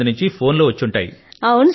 చాలా మంది నుండి ఫోన్లు వచ్చి ఉంటాయి